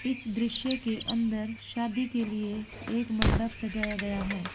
इस दृश्य के अंदर शादी के लिए एक मंडप सजाया गया है |